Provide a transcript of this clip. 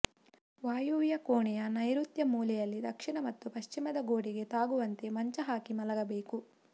ವಾಯುವ್ಯ ಕೋಣೆಯ ನೈಋತ್ಯ ಮೂಲೆಯಲ್ಲಿ ದಕ್ಷಿಣ ಮತ್ತು ಪಶ್ಚಿಮದ ಗೋಡೆಗೆ ತಾಗುವಂತೆ ಮಂಚ ಹಾಕಿ ಮಲಗಬೇಕು